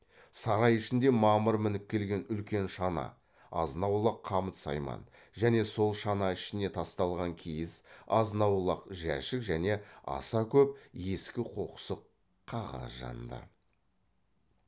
сарай ішінде мамыр мініп келген үлкен шана азын аулақ қамыт сайман және сол шана ішіне тасталған киіз азын аулақ жәшік және аса көп ескі қоқсық қағаз жанды